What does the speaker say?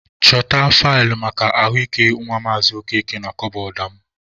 Chọta faịlụ maka ahụ ike nwa Maazị Okeke na kabọọdụ mụ.